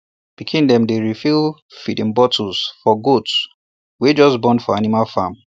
pikin dem dey refill feeding botlles for goats wey just born for animal farm